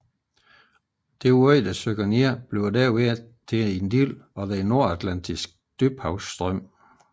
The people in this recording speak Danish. Det nedsynkende vand bliver derved til en del af Den Nordatlantiske Dybhavsstrøm